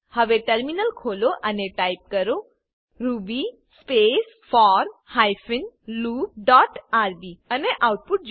હવે ટર્મિનલ ખોલો અને ટાઈપ કરો ruby space four hyphen loop dot rb અને આઉટપુટ જુઓ